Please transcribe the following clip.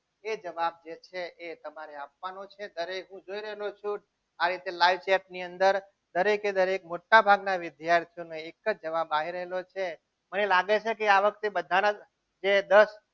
એ જવાબ છે જે તમારે આપવાનો છે દરેક હું જોઈ રહ્યો છું આ રીતે live chat ની અંદર દરેકે દરેક મોટાભાગના વિદ્યાર્થીઓ નો એક જ જવાબ આવી રહેલો છે. મને લાગે છે કે આ વખતે બધાના જે દસ